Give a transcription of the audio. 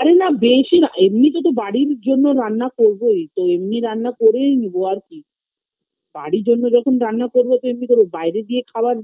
আরে না বেশি না এমনি তে তো বাড়ির জন্য রান্না করবোই তো এমনি রান্না করেই নেবো আর কি বাড়ির জন্য যখন রান্না করব তো এমনি তো বাইরে দিয়ে খাওয়ার